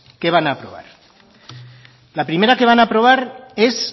la primera que van a aprobar es